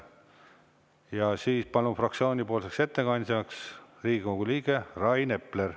Ja siis palun fraktsioonipoolseks ettekandjaks Riigikogu liige Rain Epler.